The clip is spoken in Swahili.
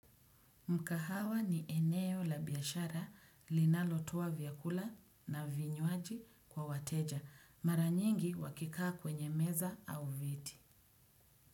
Mkahawa ni eneo la biashara linalotoa vyakula na vinywaji kwa wateja. Mara nyingi wakikaa kwenye meza au viti.